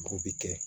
O bi kɛ